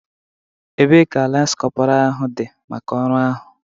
Ebee ka lance corporal dị maka ọrụ ahụ?